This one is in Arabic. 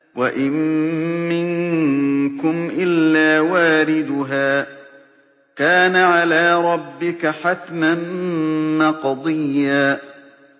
وَإِن مِّنكُمْ إِلَّا وَارِدُهَا ۚ كَانَ عَلَىٰ رَبِّكَ حَتْمًا مَّقْضِيًّا